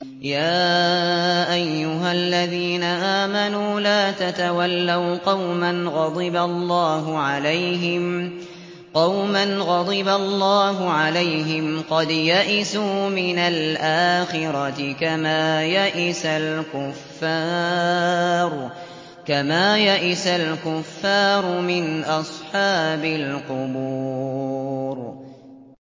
يَا أَيُّهَا الَّذِينَ آمَنُوا لَا تَتَوَلَّوْا قَوْمًا غَضِبَ اللَّهُ عَلَيْهِمْ قَدْ يَئِسُوا مِنَ الْآخِرَةِ كَمَا يَئِسَ الْكُفَّارُ مِنْ أَصْحَابِ الْقُبُورِ